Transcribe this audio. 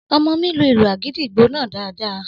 Ọmọ mi lu ìlù àgìdìgbò náà daadaa